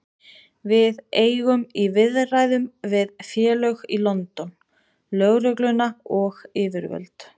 Við eigum í viðræðum við félög í London, lögregluna og yfirvöld.